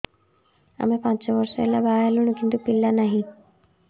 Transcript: ଆମେ ପାଞ୍ଚ ବର୍ଷ ହେଲା ବାହା ହେଲୁଣି କିନ୍ତୁ ପିଲା ନାହିଁ